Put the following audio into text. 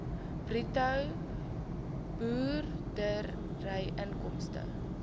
bruto boerderyinkomste